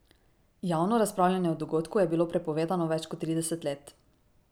Javno razpravljanje o dogodku je bilo prepovedano več kot trideset let.